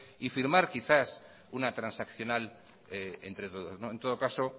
y firmar quizás una transaccional entre todos en todo caso